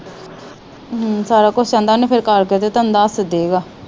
ਹਮ ਸਾਰਾ ਕੁਛ ਆਂਦਾ ਓਹਨੇ ਫਿਰ ਕਰਕੇ ਤੇ ਤੁਹਾਨੂੰ ਦਸ ਦੇਗਾ।